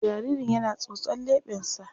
Jaririn yana tsotson leɓensa.